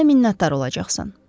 Mənə minnətdar olacaqsan.